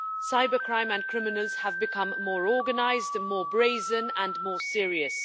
Cybercrime and criminals have become more organised, more brazen and more serious.